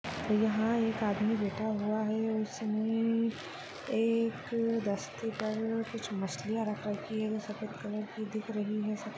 यहाँ एक आदमी बैठा हुआ है उसने एक दस्ती पर कुछ मछलीया रख राखी है वो सफ़ेद कलर की दिख रही है।